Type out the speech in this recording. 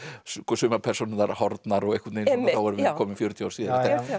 sumar persónurnar horfnar þá vorum við komin fjörutíu árum síðar